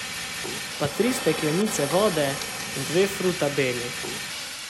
Pa tri steklenice vode in dve frutabeli.